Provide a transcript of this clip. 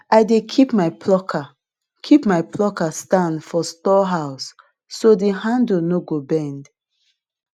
i dey keep my plucker keep my plucker stand for storehouse so the handle no go bend